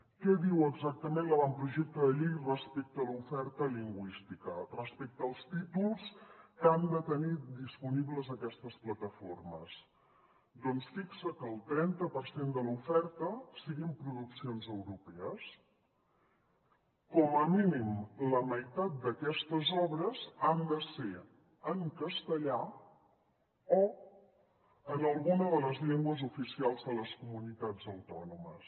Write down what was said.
què diu exactament l’avantprojecte de llei respecte a l’oferta lingüística res·pecte als títols que han de tenir disponibles aquestes plataformes doncs fixa que el trenta per cent de l’oferta siguin produccions europees com a mínim la meitat d’aquestes obres han de ser en castellà o en alguna de les llengües oficials de les co·munitats autònomes